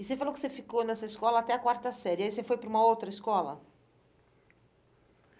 E você falou que você ficou nessa escola até a quarta série, aí você foi para uma outra escola?